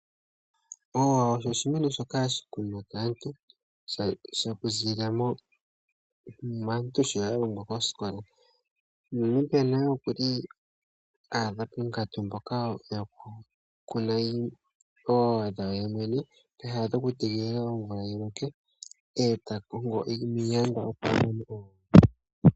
Oowa osho oshimeno shoka hashi vulu okukunwa kaantu okuziilila muunongo mboka ya longwa kosikola. Uuna omuntu a adha ponkatu yokukuna oowa dhe ye mwene, peha lyokutegelela omvula yi loke. Oha kongo iiyanda, opo a kune oowa dhe.